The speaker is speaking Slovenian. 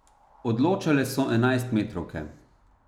Odločale so enajstmetrovke.